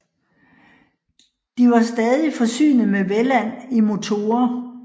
De var stadig forsynet med Welland I motorer